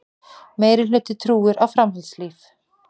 Meirihluti trúir á framhaldslíf